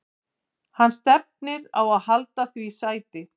Hann stefnir á að halda því sæti.